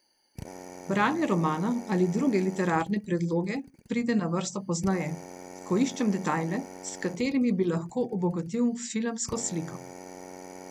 Branje romana ali druge literarne predloge pride na vrsto pozneje, ko iščem detajle, s katerimi bi lahko obogatil filmsko sliko.